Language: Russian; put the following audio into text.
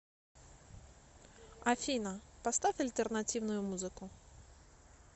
афина поставь альтернативную музыку